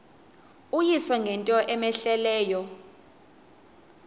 uyise ngento cmehleleyo